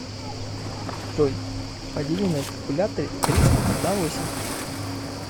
джой подели на калькуляторе триста на восемь